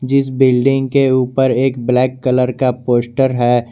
जिस बिल्डिंग के ऊपर एक ब्लैक कलर का पोस्टर है।